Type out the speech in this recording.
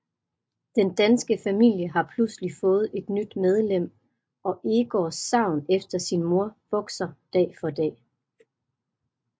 Den danske familie har pludselig fået et nyt medlem og Egors savn efter sin mor vokser dag for dag